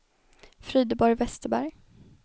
Frideborg Westerberg